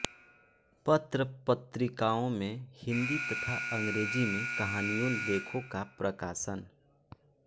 पत्रपत्रिकाओं में हिंदी तथा अंग्रेज़ी में कहानियों लेखों का प्रकाशन